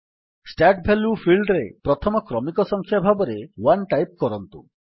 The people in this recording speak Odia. ଷ୍ଟାର୍ଟ ଭାଲ୍ୟୁ ଫିଲ୍ଡରେ ପ୍ରଥମ କ୍ରମିକ ସଂଖ୍ୟା ଭାବରେ 1 ଟାଇପ୍ କରନ୍ତୁ